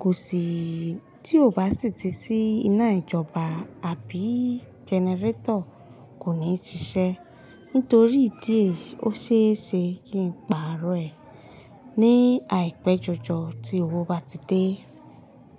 kò sì tí ò bá sì ti sí iná ìjọba àbí jẹnẹrétọ̀ kò ní ṣiṣẹ́ nítorí ìdí èyí ó ṣe é ṣe kí ń pààrọ̀ ẹ̀ ní àìpé jọjọ tí owó bá ti dé.